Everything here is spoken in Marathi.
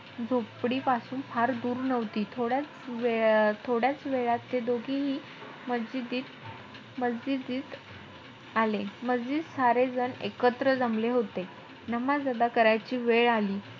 झोपडीपासून फार दूर नव्हती. थोड्याचं वेळ~ थोड्याचं वेळात ते दोघीही मस्जिदीत-मस्जिदीत आले. मस्जिदीत सारे जण एकत्र जमले होते. नमाज अदा करायची वेळ आली.